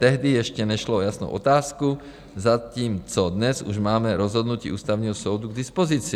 Tehdy ještě nešlo o jasnou otázku, zatímco dnes už máme rozhodnutí Ústavního soudu k dispozici.